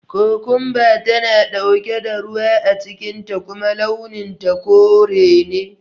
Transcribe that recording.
Kukunba tana ɗauke da ruwa a cikin ta kuma launin ta kore ne